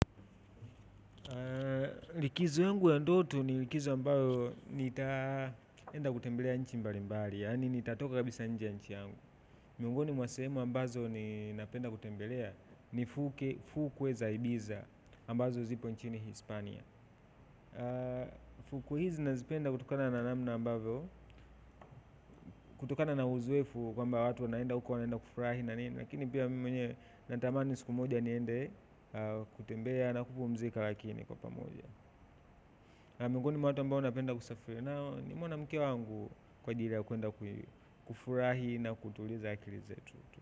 Likizo yangu ya ndoto ni likizo ambayo nitaenda kutembelea nchi mbalimbali yani nitatoka kabisa nje ya nchi yangu miongoni mwa sehemu ambazo ninapenda kutembelea ni fukwe za ibiza ambazo zipo nchini Hispania. Fukwe hizi nazipenda kutokana na namna ambavyo kutokana na uzoefu kwamba watu wanaenda uko wanaenda kufurahi na nini lakini pia mimi mwenye natamani siku moja niende kutembea na kupumzika lakini kwa pamoja miongoni mwa watu ambao napenda kusafiri nao ni mwanamke wangu kwa ajili ya kuenda kufurahi na kutuliza akili zetu.